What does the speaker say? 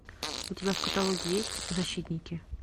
у тебя в каталоге есть защитники